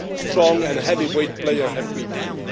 How strong and heavyweight a player have we been?